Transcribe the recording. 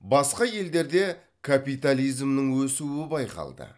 басқа елдерде капитализмнің өсуі байқалды